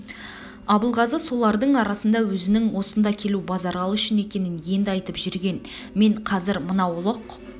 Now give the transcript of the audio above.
абылғазы солардың арасында өзінің осында келу базаралы үшін екенін енді айтып жүрген мен қазір мынау ұлық